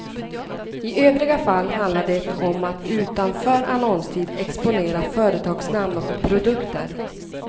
I övriga fall handlar det om att utanför annonstid exponera företagsnamn och produkter.